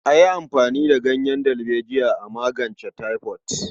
A yi amfani da ganyen dalbejiya a magance taifod.